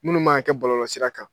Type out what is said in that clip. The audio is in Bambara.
Munnu ma ka kɛ bɔlɔlɔsira kan.